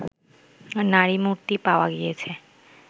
নারীমূর্তি পাওয়া গিয়েছে